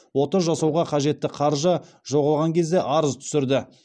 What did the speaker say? ота жасауға қажетті қаржы жоғалған кезде арыз түсірді